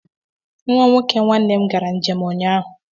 Nwa nwoke nwanne m gara njem ụnyaahụ.